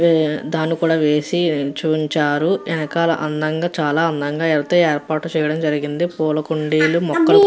దాని కూడా వేసి చూయించారు వెనకాల అందంగా చాలా అందం గా యెంతో యేర్పాట్లు చెయ్యడం జరిగింది పూల కుండీలు మొత్తం --